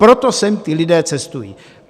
Proto sem ti lidé cestují.